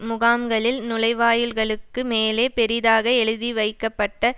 முகாம்களில் நுழைவாயில்களுக்கு மேலே பெரிதாக எழுதிவைக்கப்பட்ட